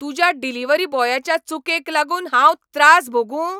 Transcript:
तुज्या डिलिव्हरी बॉयाच्या चुकेक लागून हांव त्रास भोगूं?